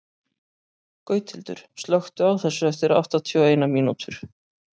Gauthildur, slökktu á þessu eftir áttatíu og eina mínútur.